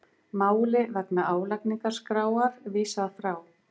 Þriðji stórsigur íslensku strákanna